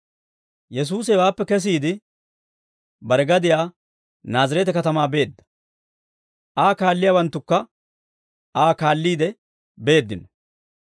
Yesuusi hewaappe kesiide, bare gadiyaa Naazireete katamaa beedda; Aa kaalliyaawanttukka Aa kaalliide beeddino.